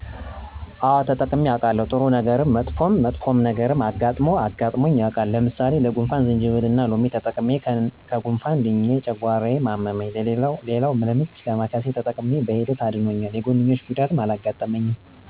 አወ ተጠቅሜ አዉቃለሁ፦ ጥሩ ነገረም መጥፎም መጥፎ ነገርም አጋጥሞ አጋጥሞኝ የዉቃል። ለምሳሌ ለጉንፍን ጅንጅብልና ሎሚ ተጠቅሜ ከጉነፋን ድኘ ጨጓራየነ አመመኝ ሌላዉ ለምች ዳማከሴን ተጠቅሜ በሂደት አድኖኛል የጎንዮሽ ጉዳትም አላጋጠመኝም።